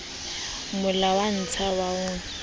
mo lwantsha ha ho na